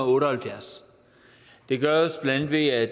otte og halvfjerds det gøres bla ved at